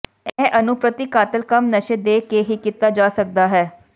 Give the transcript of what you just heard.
ਇਹ ਅਣੂ ਪ੍ਰਤੀ ਕਾਤਲ ਕੰਮ ਨਸ਼ੇ ਦੇ ਕੇ ਹੀ ਕੀਤਾ ਜਾ ਸਕਦਾ ਹੈ